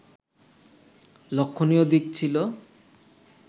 লক্ষণীয় দিক ছিল